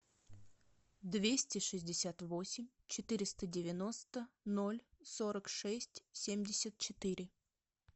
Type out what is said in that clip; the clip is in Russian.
двести шестьдесят восемь четыреста девяносто ноль сорок шесть семьдесят четыре